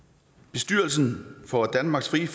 bestyrelsen for danmarks frie